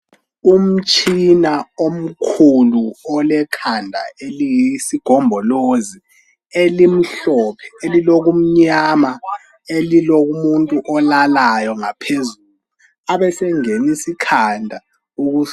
Umtshina omkhulu olekhanda eliyisigombolozi elimhlophe elilokumnyama elilomuntu olalayo ngaphezulu abesenginisa ikhanda.